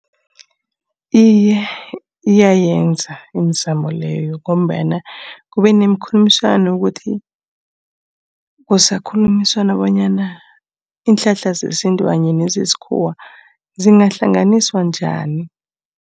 Iye iyayenza imizamo leyo ngombana kube nemikhulumiswano ukuthi kusakhulunyiswana, bonyana iinhlahla zesintu kanye nezesikhuwa zingahlanganiswa njani.